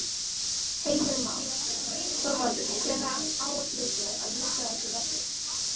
Heimir Már: Þorvaldur hvenær áætlið þið að ljúka þessu verki?